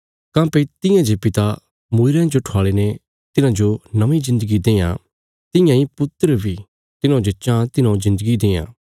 काँह्भई तियां जे पिता मूईरयां जो ठवाल़ीने तिन्हांजो नौंईं जिन्दगी देआं तियां इ पुत्र बी तिन्हौं जे चाँह तिन्हौं जिन्दगी देआं